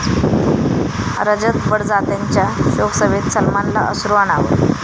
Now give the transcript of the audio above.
रजत बडजात्यांच्या शोकसभेत सलमानला अश्रू अनावर